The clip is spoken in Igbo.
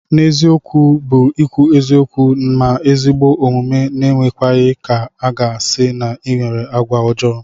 N'eziokwu bu ikwu eziokwu ma ezigbo omume n'emekwaghi ka aga si na inwere agwa ojo.